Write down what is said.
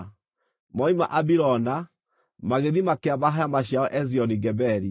Moima Abirona, magĩthiĩ makĩamba hema ciao Ezioni-Geberi.